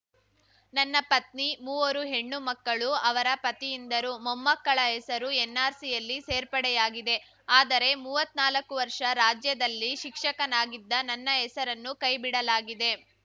ನನ್ನ ಪತ್ನಿ ಮೂವರು ಹೆಣ್ಣು ಮಕ್ಕಳು ಅವರ ಪತಿಯಿಂದರು ಮೊಮ್ಮಕ್ಕಳ ಹೆಸರು ಎನ್‌ಆರ್‌ಸಿಯಲ್ಲಿ ಸೇರ್ಪಡೆಯಾಗಿದೆ ಆದರೆ ಮುವತ್ನಾಕು ವರ್ಷ ರಾಜ್ಯದಲ್ಲಿ ಶಿಕ್ಷಕನಾಗಿದ್ದ ನನ್ನ ಹೆಸರನ್ನು ಕೈಬಿಡಲಾಗಿದೆ